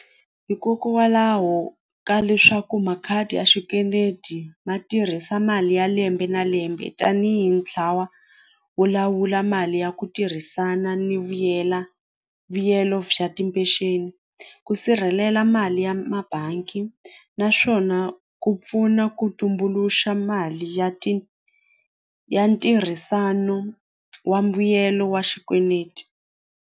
Hikokwalaho ka leswaku makhadi ya swikweleti ma tirhisa mali ya lembe na lembe tanihi ntlawa wo lawula mali ya ku tirhisana ni vuyela vuyelo bya ku sirhelela mali ya mabangi naswona ku pfuna ku tumbuluxa mali ya ti ya ntirhisano wa mbuyelo wa xikweneti.